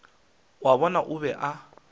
wa bona o be a